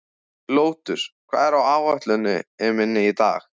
Lótus, hvað er á áætluninni minni í dag?